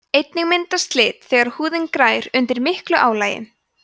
einnig myndast slit þegar húðin grær undir miklu álagi